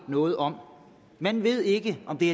noget om man ved ikke om det